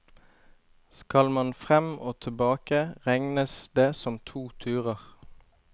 Skal man frem og tilbake, regnes det som to turer.